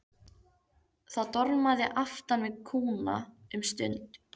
Það dormaði aftan við kúna um stund.